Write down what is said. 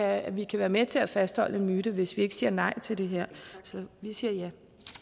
at vi kan være med til at fastholde en myte hvis vi ikke siger nej til det her så vi siger ja